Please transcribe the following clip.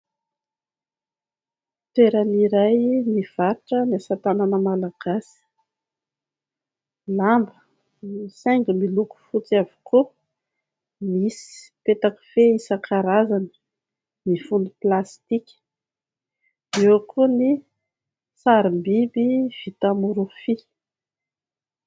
Toerana iray mivarotra ny asa tanana malagasy. Lamba misy haingony miloko fotsy avokoa, misy petakofehy isan-karazany mifono plastika ; eo koa ny sarim-biby vita amin'ny rofia.